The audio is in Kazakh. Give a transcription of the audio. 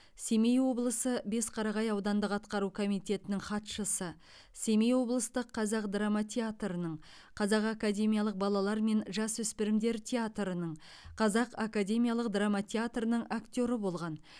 семей облысы бесқарағай ауданындық атқару комитетінің хатшысы семей облыстық қазақ драма театрының қазақ академиялық балалар мен жасөспірімдер театрының қазақ академиялық драма театрының актеры болған